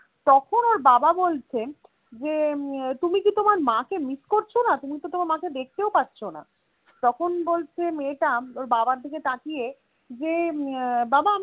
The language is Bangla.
তখন ওর বাবা বলছে যে উম তুমি কি তোমার মাকে miss করছনা তুমি তো তোমার মাকে দেখতেও পাচ্ছনা তখন বলছে মেয়েটা ওর বাবার দিকে তাকিয়ে যে উম বাবা